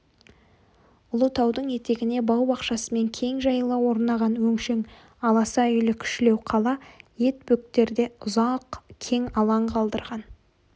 ұлы таудың етегіне бау-бақшасымен кең жайыла орнаған өңшең аласа үйлі кішілеу қала ет бөктерде ұзақ кең алаң қалдырған